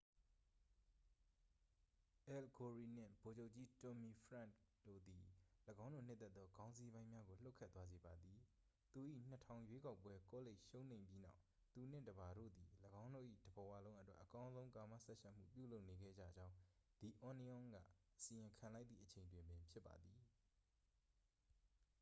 အယ်လ် ဂိုရိနှင့် ဗိုလ်ချုပ်ကြီး တွမ်မီဖရန့်ခ် တို့သည် ၎င်းတို့နှစ်သက်သောခေါင်းစီးပိုင်းများကို လှုပ်ခတ်သွားစေပါသည် သူ၏ ၂၀၀၀ ရွေးကောက်ပွဲကောလိပ်ရှုံးနိမ့်ပြီးနောက် သူနှင့် တစ်ပါတို့သည် ၎င်းတို့၏တစ်ဘဝလုံးအတွက် အကောင်းဆုံးကာမစပ်ယှက်မှု ပြုလုပ်နေခဲ့ကြကြောင်း the onion က အစီရင်ခံလိုက်သည့်အချိန်တွင်ပင်ဖြစ်ပါသည်။